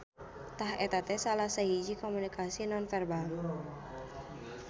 Tah eta teh salah sahiji komunikasi nonverbal.